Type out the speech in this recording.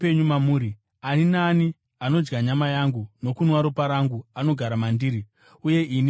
Ani naani anodya nyama yangu nokunwa ropa rangu anogara mandiri, uye ini maari.